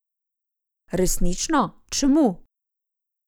Resnično, čemu?